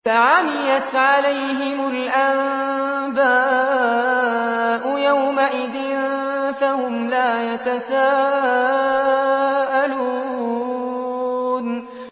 فَعَمِيَتْ عَلَيْهِمُ الْأَنبَاءُ يَوْمَئِذٍ فَهُمْ لَا يَتَسَاءَلُونَ